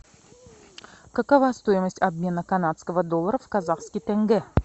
какова стоимость обмена канадского доллара в казахский тенге